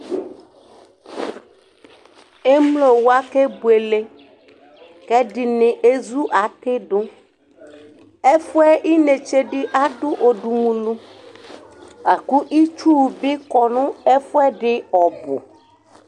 emlo wa kebuele k'ɛdini ezu ati do ɛfuɛ inetse di ado odumulu lako itsu bi kɔ no ɛfuɛdi ɔbò